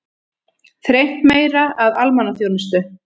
Þrengt meira að almannaþjónustu